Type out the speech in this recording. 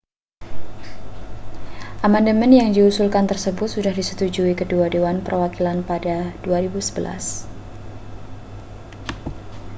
amandemen yang diusulkan tersebut sudah disetujui kedua dewan perwakilan pada 2011